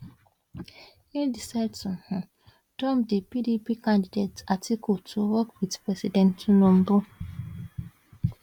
im decide to um dump di pdp candidate atiku to work wit president tinubu